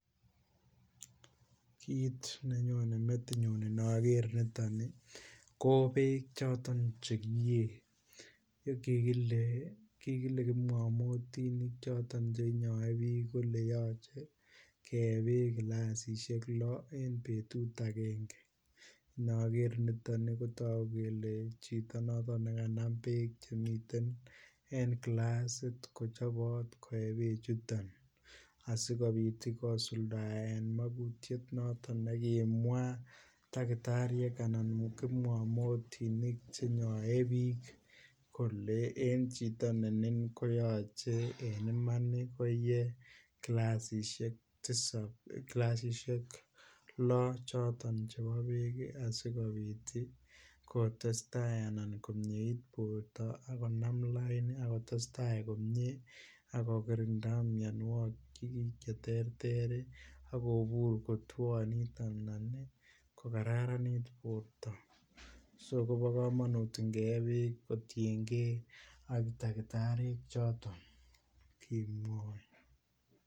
Kit nenyone metinyun Inoger ni ko bek choton Che kiyee kigile kipngamotinik choton Che inyoe bik kole yoche kee Bek kilasisiek lo en betut agenge Inoger niton kotogu kele chito noton ne kanam bek Che miten en kilasit ko chobot koe be chuton asikobit kosuldaen magutiet noton nekimwaa takitariek anan kipngamotinik Che nyoe bik kole en chito ne nin koyoche en Iman koe kilasisiek loo choton chebo bek asikobit kotesetai anan komieit borto ak konam lain ak kotestai komie ak kokirinda mianwogik Che terter ak kobur kotwonit anan ko Kararanit borto so kobo kamanut inge ye bek kotienge ak takitariek choton kimwoe